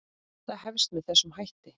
Það hefst með þessum hætti